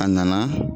A nana